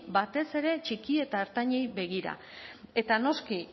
batez ere txiki eta ertainei begira eta noski